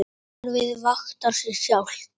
Kerfið vaktar sig sjálft.